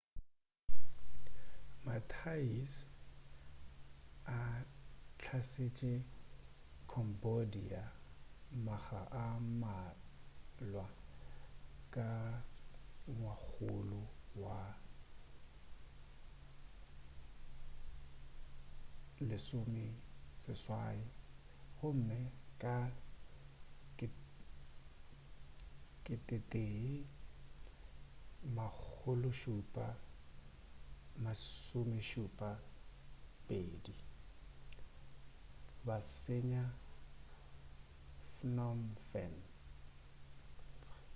ma-thais a hlasetše cambodia makga a mmalwa ka ngwakgolo wa bo 18 gomme ka 1772 ba senya phnom phen